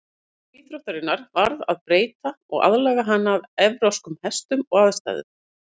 Reglum íþróttarinnar varð að breyta til að aðlaga hana að evrópskum hestum og aðstæðum.